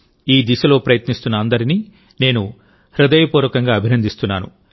ఈ దిశలో ప్రయత్నిస్తున్న అందరినీ నేను హృదయపూర్వకంగా అభినందిస్తున్నాను